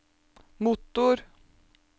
motor